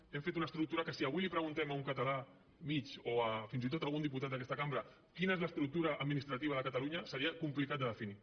hem fet una estructura que si avui li preguntem a un català mitjà o fins i tot a algun diputat d’aquesta cambra quina és l’estructura administrativa de catalunya seria complicat de definir